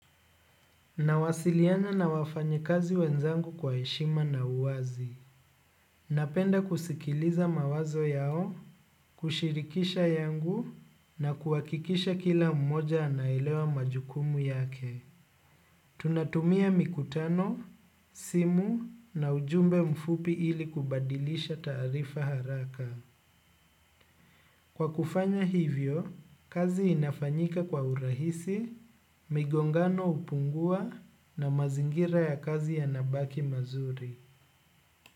Nawasiliana na wafanyi kazi wenzangu kwa eshima na uwazi. Napenda kusikiliza mawazo yao kushirikisha yangu na kuhakikisha kila mmoja anaelewa majukumu yake. Tunatumia mikutano, simu na ujumbe mfupi ili kubadilisha tarifa haraka. Kwa kufanya hivyo, kazi inafanyika kwa urahisi, migongano upungua na mazingira ya kazi yanabaki mazuri.